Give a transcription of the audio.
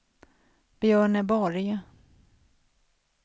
Björneborg